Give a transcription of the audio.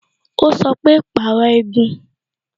Ó sọ pé "Pàrọ̀ igun"